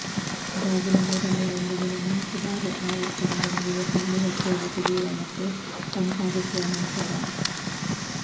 ಗಾಜಿನ ಮೂರನೇ ಒಂದು ದಿನ ನಾಲ್ಕು ಬಾರಿ ಆವರ್ತನದೊಂದಿಗೆ ಖಾಲಿ ಹೊಟ್ಟೆಯಲ್ಲಿ ಕುಡಿಯುವ ಮತ್ತು ತಂಪಾಗಿಸುವ ನಂತರ